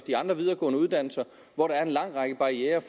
de andre videregående uddannelser hvor der er en lang række barrierer